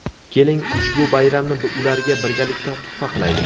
Keling, ushbu bayramni ularga birgalikda tuhfa qilaylik.